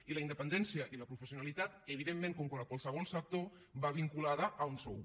i la independència i la professionalitat evidentment com a qualsevol sector van vinculades a un sou